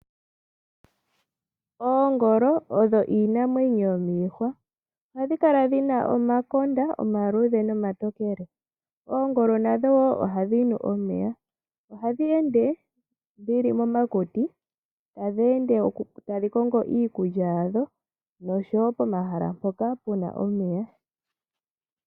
Oongolo odho iinamwenyo yomiihwa ohadhi kala dhina omakonda omaluudhe nomatokele. Oongolo nadho woo ohadhi nu omeya. Ohadhi ende dhili momakuti tadhi ende tadhi kongo iikulya yadho noshowo pomahala mpoka puna omeya.